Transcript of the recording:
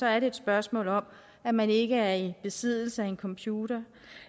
er det et spørgsmål om at man ikke er i besiddelse af en computer